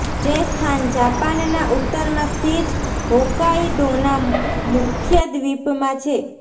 જે સ્થાન જાપાનના ઉત્તરમાં સ્થિત હોકાઈદોના મુખ્ય દ્વીપમાં છે